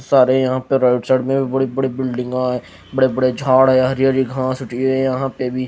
सारे यहां पर राइट साइड में बड़े-बड़े बिल्डिंग है। बड़े-बड़े झाड़ है। हरी-हरी घास होती है यहां पे भी --